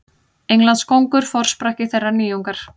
Englandskóngur forsprakki þeirrar nýjungar.